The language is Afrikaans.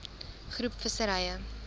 groep visserye